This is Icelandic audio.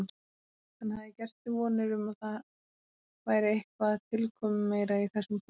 Hann hafði gert sér vonir um að það væri eitthvað tilkomumeira í þessum poka.